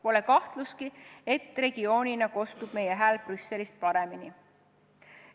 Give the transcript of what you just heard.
Pole kahtlustki, et regioonina kostab meie hääl Brüsselis paremini.